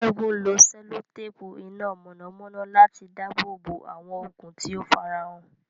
Ṣẹ́gun lo sẹ́lótéèpù iná mọ̀nàmọ́ná láti dáàbò bo àwọn okùn tí ó farahàn.